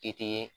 I tɛ